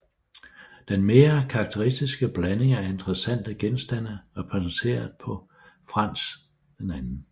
Den mere karakteristiske blanding af interessante genstande repræsenteret på Frans 2